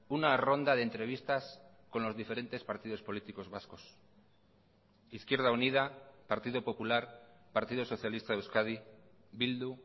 una ronda de entrevistas con los diferentes partidos políticos vascos izquierda unida partido popular partido socialista de euskadi bildu